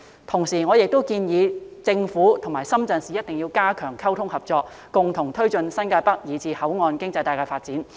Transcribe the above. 同時，我亦建議政府和深圳市一定要加強溝通和合作，共同推進新界北以至口岸經濟帶的發展。